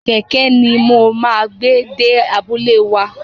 Kẹ̀kẹ́ ni mo máa gbé dé abúlé wa.